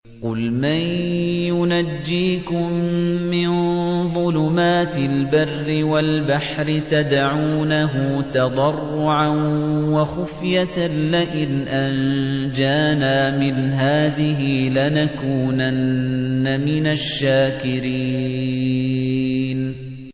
قُلْ مَن يُنَجِّيكُم مِّن ظُلُمَاتِ الْبَرِّ وَالْبَحْرِ تَدْعُونَهُ تَضَرُّعًا وَخُفْيَةً لَّئِنْ أَنجَانَا مِنْ هَٰذِهِ لَنَكُونَنَّ مِنَ الشَّاكِرِينَ